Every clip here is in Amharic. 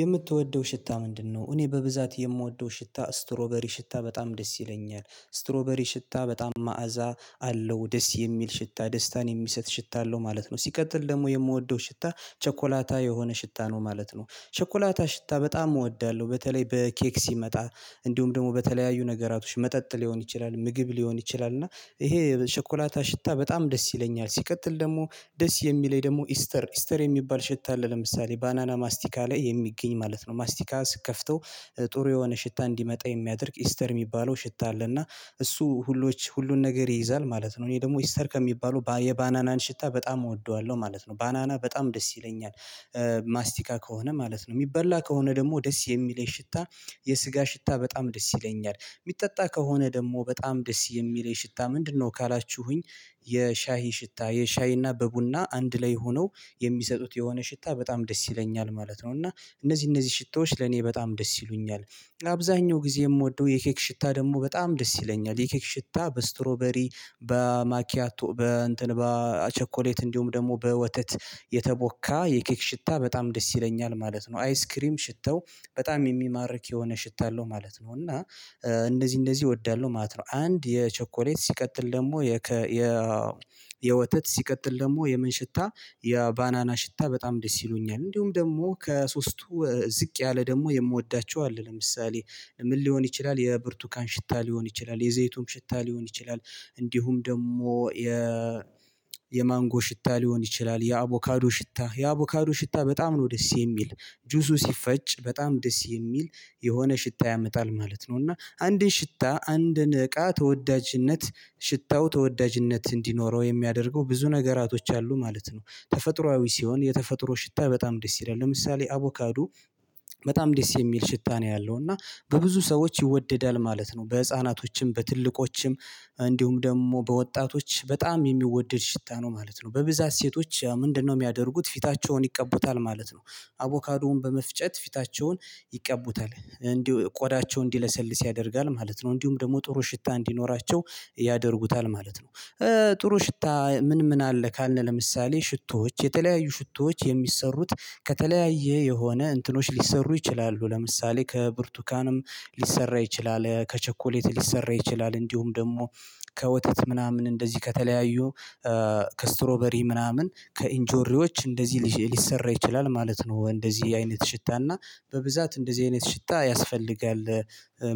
የምትወደው ሽታ ምንድን ነው? እኔ በብዛት የምወደው ሽታ ስትሮበሪ ሽታ በጣም ደስ ይለኛል ስትሮበሪ ሽታ በጣም መዓዛ አለው ደስ የሚል ሽታ ደስታን የሚሰጥ ሽታ አለው ማለት ነው። ሲቀጥል ደግሞ የምወደው ሽታ ቸኮላታ የሆነ ሽታ ነው ማለት ነው ቸኮላታ ሽታ በጣም እወዳለሁ በተለይ በኬክ ሲመጣ እንዲሁም ደግሞ በተለያዩ ነገራቶች መጠጥ ሊሆን ይችላል ምግብ ሊሆን ይችላል እና ይሄ ሸኮላታ ሽታ በጣም ደስ ይለኛል። ሲቀጥል ደግሞ ደስ የሚለኝ ደግሞ ኢስተር ኢስተር የሚባል ሽታ አለ ለምሳሌ ባናና ማስቲካ ላይ የሚገኝ ማለት ነው ማስቲካ ስትከፍተው ጥሩ የሆነ ሽታ እንዲመጣ የሚያደርግ ኢስተር የሚባለው ሽታ አለ እና እሱ ሁሉን ነገር ይይዛል ማለት ነው። እኔ ደግሞ ኢስተር ከሚባሉ የባናናን ሽታ በጣም እወደዋለሁ ማለት ነው ባናና በጣም ደስ ይለኛል። ማስቲካ ከሆነ ማለት ነው የሚበላ ከሆነ ደግሞ ደስ የሚለኝ ሽታ የስጋ ሽታ በጣም ደስ ይለኛል። የሚጠጣ ከሆነ ደግሞ በጣም ደስ የሚል የሽታ ምንድነው ካላችሁኝ? የሻሂ ሽታ የሻይና በቡና አንድ ላይ ሆነው የሚሰጡት የሆነ ሽታ በጣም ደስ ይለኛል ማለት ነው። እና እነዚህ እነዚህ ሽታዎች ለኔ በጣም ደስ ይሉኛል። አብዛኛው ጊዜ የምወደው የኬክ ሽታ ደግሞ በጣም ደስ ይለኛል የኬክ ሽታ በስትሮበሪ በማኪያቶ በ እንትን በቸኮሌት እንዲሁም ደግሞ በወተት የተቦካ የኬክ ሽታ በጣም ደስ ይለኛል ማለት ነው። አይስክሪም ሽተው በጣም የሚማርክ የሆነ ሽታ አለው ማለት ነው እና እንደዚህ እንደዚህ እወዳለሁ ማለት ነው። አንድ የቸኮሌት ሲቀጥል ደግሞ የ የወተት ሲቀጥል ደግሞ የምን ሽታ የባናና ሽታ በጣም ደስ ይሉኛል። እንዲሁም ደግሞ ከሶስቱ ዝቅ ያለ ደግሞ የምወዳቸው አለ ለምሳሌ ምን ሊሆን ይችላል የብርቱካን ሽታ ሊሆን ይችላል የዘይቱን ሽታ ሊሆን ይችላል እንዲሁም ደግሞ የ የማንጎ ሽታ ሊሆን ይችላል የአቮካዶ ሽታ የአቮካዶ ሽታ በጣም ነው ደስ የሚል። ጁሱ ሲፈጭ በጣም ደስ የሚል የሆነ ሽታ ያመጣል ማለት ነው። እና አንድን ሽታ አንድን እቃ ተወዳጅነት ሽታው ተወዳጅነት እንዲኖረው የሚያደርገው ብዙ ነገሮች አሉ ማለት ነው ተፈጥሮአዊ ሲሆን የተፈጥሮ ሽታ በጣም ደስ ይላል። ለምሳሌ አቮካዶ በጣም ደስ የሚል ሽታ ነው ያለው እና በብዙ ሰዎች ይወደዳል ማለት ነው። በህፃናቶችም በትልቆችም እንዲሁም ደግሞ በወጣቶች በጣም የሚወደድ ሽታ ነው ማለት ነው። በብዛት ሴቶች ምንድነው የሚያደርጉት ፊታቸውን ይቀቡታል ማለት ነው። አቮካዶን በመፍጨት ፊታቸውን ይቀቡታል እንዲሁ ቆዳቸው እንዲለሰልስ ያደርጋል ማለት ነው። እንዲሁም ደግሞ ጥሩ ሽታ እንዲኖራቸው ያደርጉታል ማለት ነው። ጥሩ ሽታ ምን ምን አለ ካልነ? ለምሳሌ ሽቶዎች የተለያዩ ሽቶዎች የሚሰሩት ከተለያየ የሆነ እንትኖች ሊሰሩ ይችላሉ ለምሳሌ ከብርቱካንም ሊሰራ ይችላል ከቸኮሌት ሊሰራ ይችላል እንዲሁም ደግሞ ከወተት ምናምን እንደዚህ ከተለያዩ ከስትሮበሪ ምናምን ከኢንጆሪዎች እንደዚህ ሊሰራ ይችላል ማለት ነው እንደዚህ አይነት ሽታና በብዛት እንደዚህ አይነት ሽታ ያስፈልጋል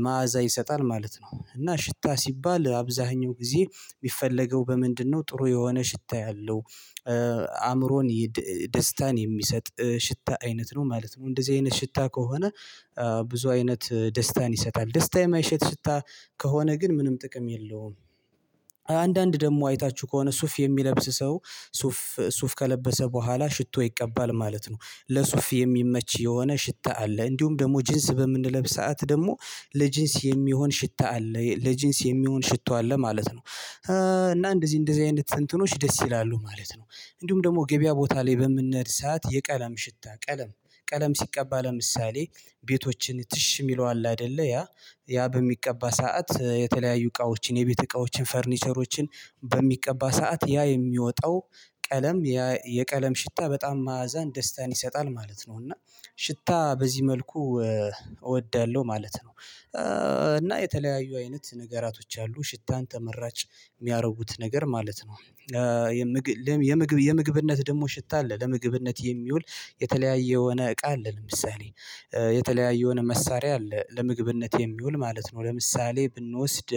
መዓዛ ይሰጣል ማለት ነው። እና ሽታ ሲባል አብዛኛው ጊዜ የሚፈለገው በምንድነው ጥሩ የሆነ ሽታ ያለው አእምሮን ደስታን የሚሰጥ ሽታ አይነት ነው ማለት ነው። እንደዚህ አይነት ሽታ ከሆነ ብዙ አይነት ደስታን ይሰጣል ደስታ የማይሰጥ ሽታ። ከሆነ ግን ምንም ጥቅም የለውም። አንዳንድ ደግሞ አይታችሁ ከሆነ ሱፍ የሚለብስ ሰው ሱፍ ሱፍ ከለበሰ በኋላ ሽቶ ይቀባል ማለት ነው። ለሱፍ የሚመች የሆነ ሽታ አለ። እንዲሁም ደግሞ ጂንስ በምንለብስ ሰዓት ደግሞ ለጂንስ የሚሆን ሽታ አለ ለጂንስ የሚሆን ሽቶ አለ ማለት ነው። እና እንደዚህ እንደዚህ አይነት ትንትኖች ደስ ይላሉ ማለት ነው። እንዲሁም ደግሞ ገበያ ቦታ ላይ በምንሄድ ስዓት የቀለም ሽታ ቀለም ቀለም ሲቀባ ለምሳሌ ቤቶችን ትሽ የሚለው አለ አይደለ ያ ያ በሚቀባ ሰዓት የተለያዩ እቃዎችን የቤት እቃዎችን ፈርኒቸሮችን በሚቀባ ሰዓት ያ የሚወጣው ቀለም የቀለም ሽታ በጣም መአዛን ደስታን ይሰጣል ማለት ነው። እና ሽታ በዚህ መልኩ እወዳለሁ ማለት ነው። እና የተለያዩ አይነት ነገሮች አሉ ሽታን ተመራጭ የሚያደርጉት ነገር ማለት ነው። የምግብ የምግብ የምግብነት ደግሞ ሽታ አለ ለምግብነት የሚውል የተለያየ የሆነ እቃ አለ። ለምሳሌ የተለያየ የሆነ መሳሪያ አለ ለምግብነት የሚውል ማለት ነው። ለምሳሌ ብንወስድ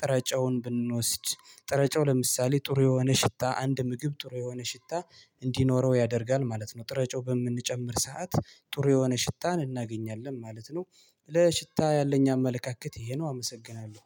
ጥረጫውን ብንወስድ ጥረጨው ለምሳሌ ጥሩ የሆነ ሽታ አንድ ምግብ ጥሩ የሆነ ሽታ እንዲኖረው ያደርጋል ማለት ነው። ጥረጮ በምንጨምር ሰዓት ጥሩ የሆነ ሽታን እናገኛለን ማለት ነው። ለሽታ ያለኝ አመለካከት ይሄ ነው አመሰግናለሁ።